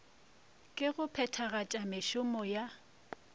ke go phethagatša mešomo ya